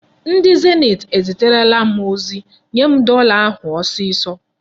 Ndị Zenit eziterela m ozi. Nye m dọla ahụ ọsịsọ!